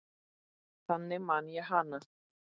Þannig man ég hana.